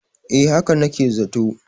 eh haka nake zato